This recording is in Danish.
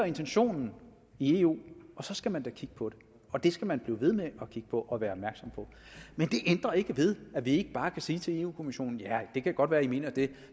intentionen i eu og så skal man da kigge på det og det skal man blive ved med at kigge på og være opmærksom på men det ændrer ikke ved at vi ikke bare kan sige til europa kommissionen ja det kan godt være at i mener det